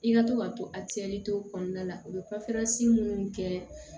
I ka to ka to a tigɛli ko kɔnɔna la u bɛ minnu kɛ